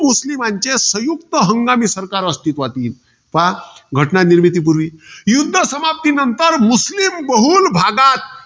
मुस्लिमांचे संयुक्त हंगामी सरकार अस्तित्वात येईल. पहा, घटना निर्मितीपूर्वी, युध्द समाप्तीनंतर मुस्लीम बहुलभागात.